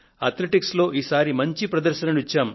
athletics లో ఈసారి మంచి ప్రదర్శనను ఇచ్చాము